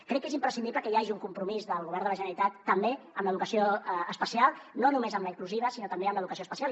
crec que és imprescindible que hi hagi un compromís del govern de la generalitat també amb l’educació especial no només amb la inclusiva sinó també amb l’educació especial